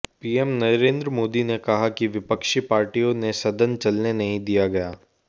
PM Narendra Modi ने कहा कि विपक्षी पार्टियों ने सदन चलने नहीं दिया गया